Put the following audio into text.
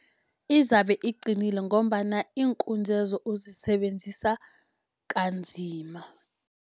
Izabe iqinile, ngombana iinkunzi lezo uzisebenzisa kanzima.